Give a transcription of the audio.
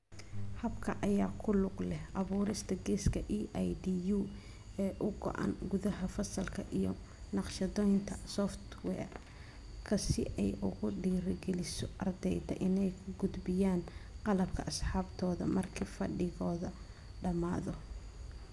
Habka ayaa ku lug leh abuurista 'geeska EIDU' ee u go'an gudaha fasalka iyo naqshadaynta software-ka si ay ugu dhiirigeliso ardayda inay u gudbiyaan qalabka asxaabtooda marka fadhigoodu dhamaado.